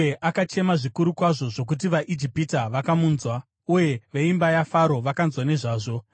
Uye akachema zvikuru kwazvo zvokuti vaIjipita vakamunzwa, uye veimba yaFaro vakanzwa nezvazvo.